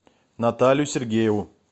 наталью сергееву